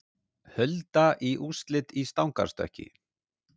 Hulda í úrslit í stangarstökki